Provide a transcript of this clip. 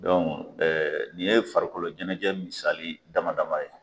Don nin ye farikolo ɲɛnajɛ misali dama dama ye.